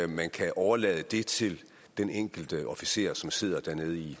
man kan overlade det til den enkelte officer som sidder dernede i